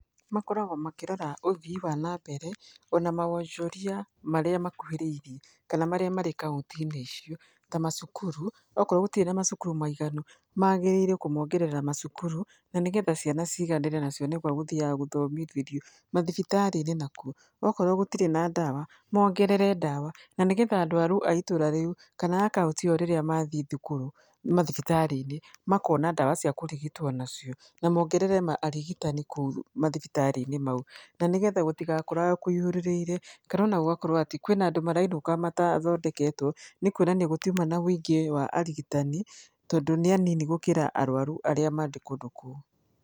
Makoragwo makĩrora ũthii wa nambere ona mawonjoria marĩa makuhĩrĩirie kana marĩa marĩ kaunti-inĩ icio ta macukuru, okorwo gũtirĩ na macukuru maiganu magĩrĩire kũmongerera macukuru na nĩgetha ciana ciganĩre na cione gwa guthĩyaga gũthomithĩrio. Mathibitari-inĩ nakuo, ũkorwo gũtirĩ na ndawa mongerere ndawa na nĩgetha arwaru a ĩtũra rĩu kana kauntĩ ĩyo rĩrĩa mathĩĩ mathibitari-inĩ makona ndawa cia kũrigitwo nacio na mongerere arigitani kũu mathibitari-inĩ mau na nĩgetha gũtigakorwo kũihũrĩrĩire kana ona gũgakorwo atĩ kwĩna andũ marainũka mathondeketwo nĩ kuonania gũtiuma na ũingĩ wa arigitani tondũ nĩ anini gũkĩra arwaru arĩa marĩ kũndũ kũu.